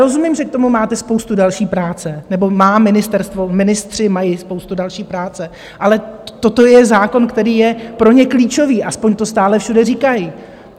Rozumím, že k tomu máte spoustu další práce, nebo má ministerstvo, ministři mají spoustu další práce, ale toto je zákon, který je pro ně klíčový, aspoň to stále všude říkají.